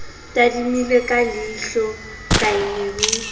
tadimile ka leihlola kaine ho